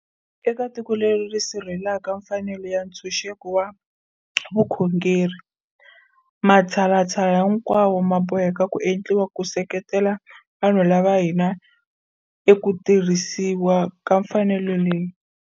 Eka tiko leri ri sirhelelaka mfanelo ya ntshunxeko wa vukhongeri, matshalatshala hinkwawo ma boheka ku endliwa ku se ketela vanhu va ka hina eka ku tirhisiwa ka mfanelo leyi.